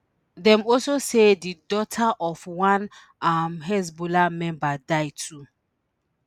dem also say di daughter of one um hezbollah member die too